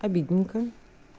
обидненько